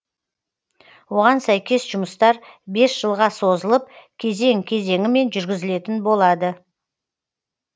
оған сәйкес жұмыстар бес жылға созылып кезең кезеңімен жүргізілетін болады